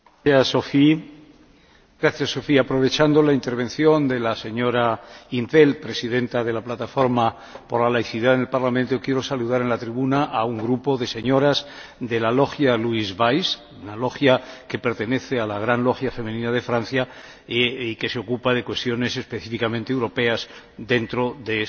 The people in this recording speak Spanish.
Aprovechando la intervención de la señora in 't Veld, presidenta de la plataforma por la laicidad en el Parlamento, quiero saludar en la tribuna a un grupo de señoras de la logia Louise Weiss, una logia que pertenece a la gran logia femenina de Francia, que se ocupa de cuestiones específicamente europeas dentro de su organización, y que colabora con nosotros